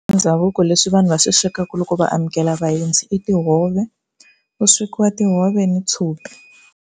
Ndhavuko leswi vanhu va swi swekaka loko va amukela vaendzi i tihove ku swekiwa tihove ni tshopi.